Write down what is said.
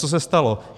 Co se stalo?